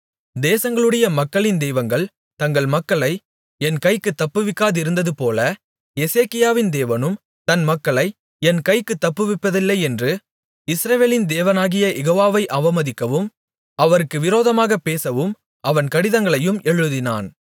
தேசங்களுடைய மக்களின் தெய்வங்கள் தங்கள் மக்களை என் கைக்குத் தப்புவிக்காதிருந்ததுபோல எசேக்கியாவின் தேவனும் தன் மக்களை என் கைக்குத் தப்புவிப்பதில்லையென்று இஸ்ரவேலின் தேவனாகிய யெகோவாவை அவமதிக்கவும் அவருக்கு விரோதமாகப் பேசவும் அவன் கடிதங்களையும் எழுதினான்